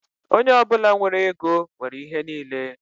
Onye ọ bụla nwere ego nwere ihe niile